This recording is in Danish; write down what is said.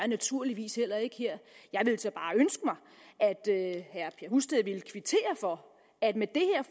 naturligvis heller ikke her jeg ville så bare ønske mig at herre husted ville kvittere for at med det her